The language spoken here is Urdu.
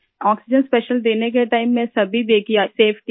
آکسیجن اسپیشل دینے کے وقت میں بھی سبھی دیکھ رہے تھے